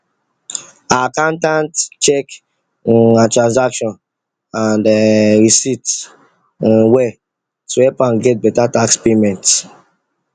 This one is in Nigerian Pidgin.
her accountant check um her transaction and um receipts um well to help am get better tax payment